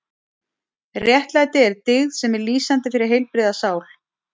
Réttlæti er dyggð sem er lýsandi fyrir heilbrigða sál.